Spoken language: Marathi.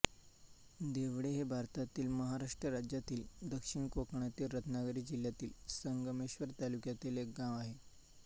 देवडे हे भारतातील महाराष्ट्र राज्यातील दक्षिण कोकणातील रत्नागिरी जिल्ह्यातील संगमेश्वर तालुक्यातील एक गाव आहे